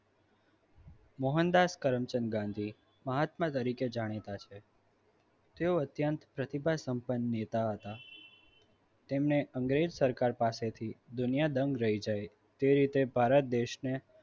મોહનદાસ કલમચંદ ગાંધી મહાત્મા તરીકે જાણીતા છે તેઓ અત્યંત પ્રતિભા સંપન્ન નેતા હતા તેમને અંગ્રેજ સરકાર પાસેથી દુનિયા દંગ રહી જાય તે રીતે ભારત દેશને